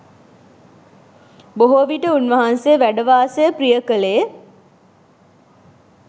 බොහෝවිට උන් වහන්සේ වැඩ වාසය ප්‍රිය කළේ